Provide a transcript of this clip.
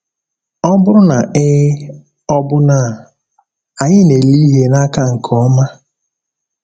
Ọ bụrụ na ee, ọ̀ bụ na anyị na-ele ihe n’aka nke ọma?